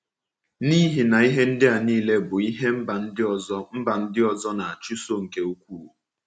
N’ihi na ihe ndị a niile bụ ihe mba ndị ọzọ mba ndị ọzọ na -achụso nke ukwuu.